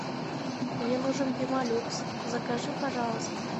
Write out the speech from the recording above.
мне нужен пемолюкс закажи пожалуйста